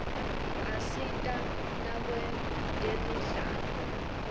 asita nakwetemidlalo